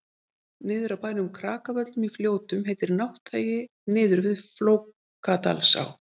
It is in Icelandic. niður af bænum krakavöllum í fljótum heitir nátthagi niður við flókadalsá